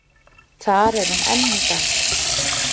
Þar er hún enn í dag.